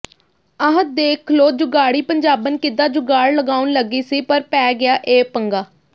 ਆਹ ਦੇਖਲੋ ਜੁਗਾੜੀ ਪੰਜਾਬਣ ਕਿਦਾਂ ਜੁਗਾੜ ਲਗਾਉਣ ਲਗੀ ਸੀ ਪਰ ਪੈ ਗਿਆ ਇਹ ਪੰਗਾ